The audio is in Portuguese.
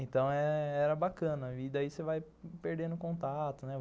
Então era bacana e daí você vai perdendo contato, né?